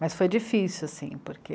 Mas foi difícil, assim, porque